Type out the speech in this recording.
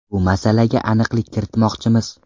Bu masalaga aniqlik kiritmoqchimiz.